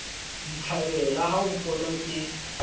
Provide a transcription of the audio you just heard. ditlhabela ha o mpona ke